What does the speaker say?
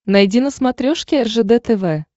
найди на смотрешке ржд тв